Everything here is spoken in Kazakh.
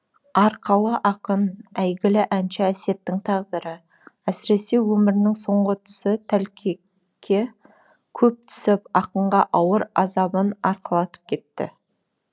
арқалы ақын әйгілі әнші әсеттің тағдыры әсіресе өмірінің соңғы тұсы тәлкекке көп түсіп ақынға ауыр азабын арқалатып кетті